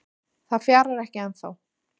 Það fjarar ekki ennþá